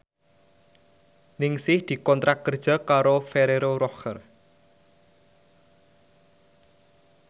Ningsih dikontrak kerja karo Ferrero Rocher